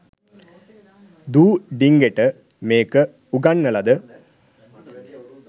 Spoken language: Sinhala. දූ ඩිංගට මේක උගන්නලද